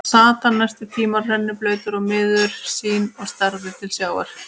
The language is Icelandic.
Þar sat hann næstu tímana, rennblautur og miður sín og starði til sjávar.